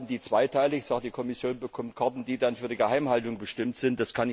Wird hier zweiteilig gearbeitet die Kommission bekommt Karten, die dann für die Geheimhaltung bestimmt sind?